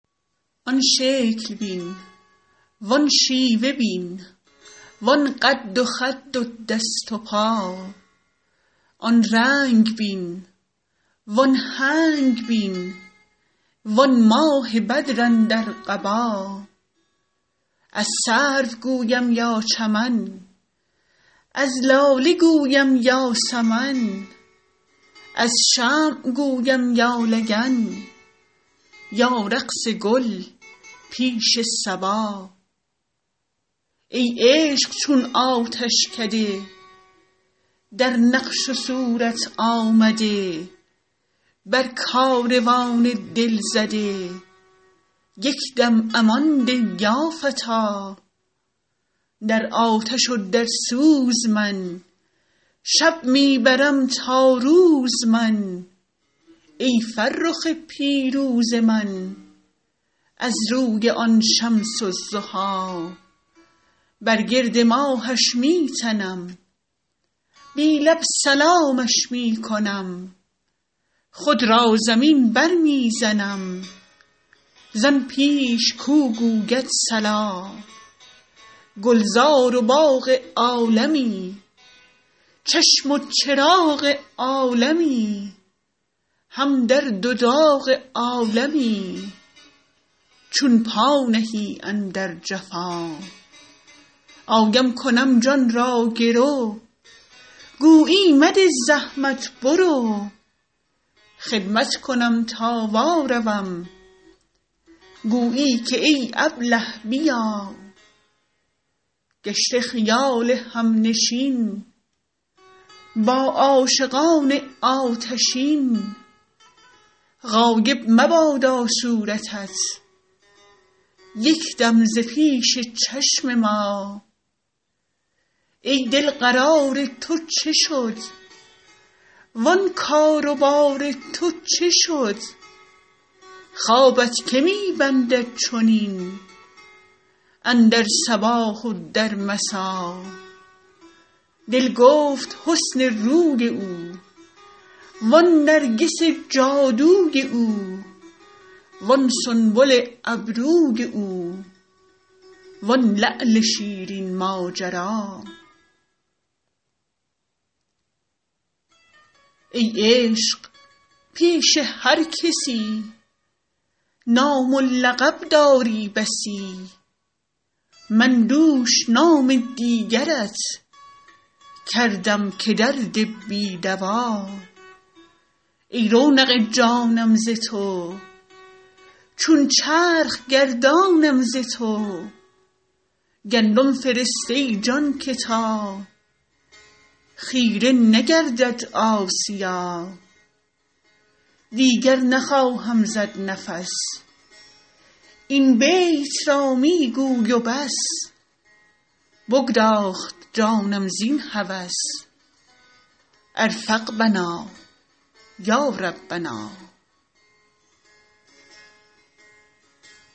آن شکل بین وان شیوه بین وان قد و خد و دست و پا آن رنگ بین وان هنگ بین وان ماه بدر اندر قبا از سرو گویم یا چمن از لاله گویم یا سمن از شمع گویم یا لگن یا رقص گل پیش صبا ای عشق چون آتشکده در نقش و صورت آمده بر کاروان دل زده یک دم امان ده یا فتی در آتش و در سوز من شب می برم تا روز من ای فرخ پیروز من از روی آن شمس الضحی بر گرد ماهش می تنم بی لب سلامش می کنم خود را زمین برمی زنم زان پیش کو گوید صلا گلزار و باغ عالمی چشم و چراغ عالمی هم درد و داغ عالمی چون پا نهی اندر جفا آیم کنم جان را گرو گویی مده زحمت برو خدمت کنم تا واروم گویی که ای ابله بیا گشته خیال همنشین با عاشقان آتشین غایب مبادا صورتت یک دم ز پیش چشم ما ای دل قرار تو چه شد وان کار و بار تو چه شد خوابت که می بندد چنین اندر صباح و در مسا دل گفت حسن روی او وان نرگس جادوی او وان سنبل ابروی او وان لعل شیرین ماجرا ای عشق پیش هر کسی نام و لقب داری بسی من دوش نام دیگرت کردم که درد بی دوا ای رونق جانم ز تو چون چرخ گردانم ز تو گندم فرست ای جان که تا خیره نگردد آسیا دیگر نخواهم زد نفس این بیت را می گوی و بس بگداخت جانم زین هوس ارفق بنا یا ربنا